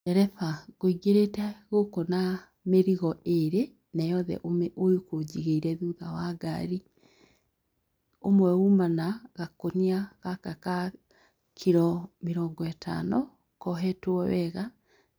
Ndereba, ngũingĩrĩte gũkũ na mĩrigo ĩrĩ, nayothe ũkũnjigĩire thutha wa ngari. Ũmwe uma na gakũnia gaka ka kiro mĩrongo ĩtano, kohetwo wega